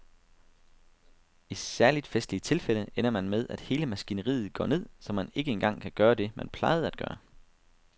I særligt festlige tilfælde ender man med at hele maskineriet går ned, så man ikke engang kan gøre det, man plejede atgøre.